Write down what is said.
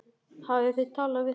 Hafið þið talað við þá?